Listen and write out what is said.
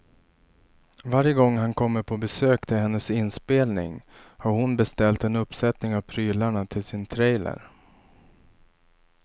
Varje gång han kommer på besök till hennes inspelning har hon beställt en uppsättning av prylarna till sin trailer.